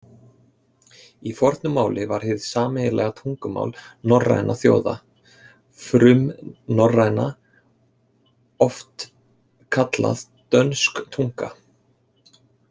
Í fornu máli var hið sameiginlega tungumál norrænna þjóða, frumnorræna, oft kallað dönsk tunga.